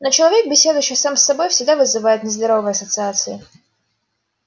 но человек беседующий сам с собой всегда вызывает нездоровые ассоциации